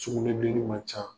Sukunɛbilenin man can